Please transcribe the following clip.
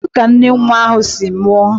Kedu ka nne nwa ahụ si nwụọ?